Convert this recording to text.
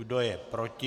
Kdo je proti?